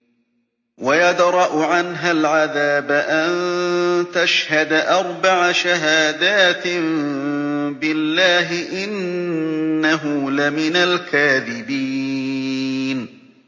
وَيَدْرَأُ عَنْهَا الْعَذَابَ أَن تَشْهَدَ أَرْبَعَ شَهَادَاتٍ بِاللَّهِ ۙ إِنَّهُ لَمِنَ الْكَاذِبِينَ